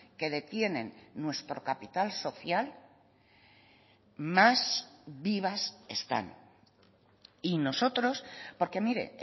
que detienen nuestro capital social más vivas están y nosotros porque mire